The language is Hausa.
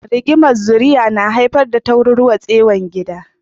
Rigimar zuri'a na haifar da tarwatsewar gida.